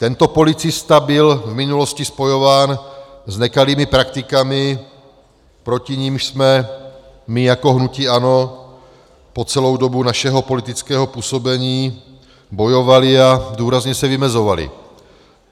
Tento policista byl v minulosti spojován s nekalými praktikami, proti nimž jsme my jako hnutí ANO po celou dobu našeho politického působení bojovali a důrazně se vymezovali.